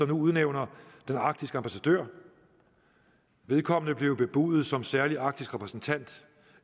nu udnævner den arktiske ambassadør vedkommende blev jo bebudet som særlig arktisk repræsentant